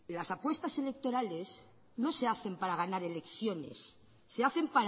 las apuestas electorales no se hacen para ganar elecciones se hacen